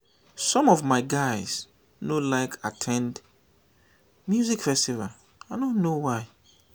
some of my guys no like at ten d music festival i no know why